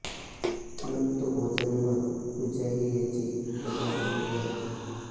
नक्तभोजन व पूजा ही याची प्रधान अंगे आहेत